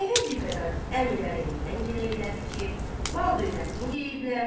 Əvvəl bir qədər əmilərindən giley elədi ki, mal-dövlətini yeyiblər.